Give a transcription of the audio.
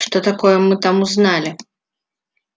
что такое мы там узнали